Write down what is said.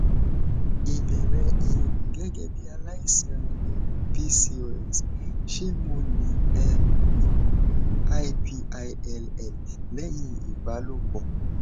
ìbéèrè um gegebi alaisan um pcos ṣé mo lè um lo oògùn ipill lẹyìn ìbálòpọ